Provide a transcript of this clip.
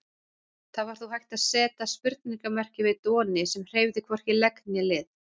Það var þó hægt að seta spurningarmerki við Doni sem hreyfði hvorki legg né lið.